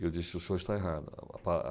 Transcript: E eu disse, o senhor está errado.